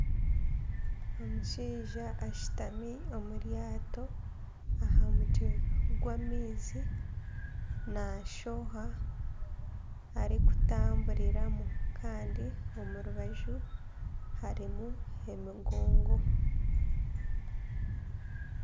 Omushaija ashutami omu ryaato, aha mutwe gw'amaizi ,nashoha arikutamburiramu Kandi omurubaju harimu emigongo.